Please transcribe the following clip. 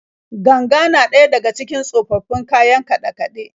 Ganga na daya daga cikin tsofaffin kayan kaɗe-kaɗe.